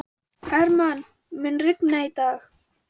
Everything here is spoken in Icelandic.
Hermann, mun rigna í dag?